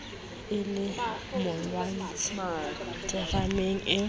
e le molwantshi terameng ee